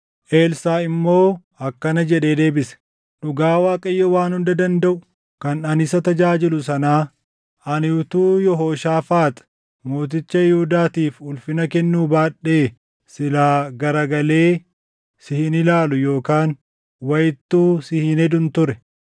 Elsaaʼi immoo akkana jedhee deebise; “Dhugaa Waaqayyoo Waan Hunda Dandaʼu kan ani isa tajaajilu sanaa; ani utuu Yehooshaafaax mooticha Yihuudaatiif ulfina kennuu baadhee silaa garagalee si hin ilaalu yookaan wayittuu si hin hedun ture.